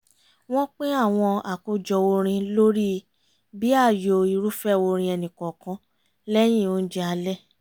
wọ́n pín àwọn àkójọ orin lórí bí ààyò irúfẹ́ orin ẹnìkọ̀ọ̀kan lẹ́yìn oúnjẹ alẹ́